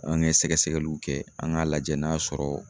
An ne sɛgɛsɛgɛliw kɛ an ŋ'a lajɛ n'a sɔrɔ